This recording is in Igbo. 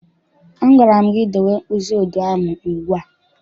A gwara m gị dowe mkpịsị odee ahụ ugbu a!